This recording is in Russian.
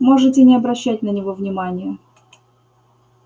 можете не обращать на него внимания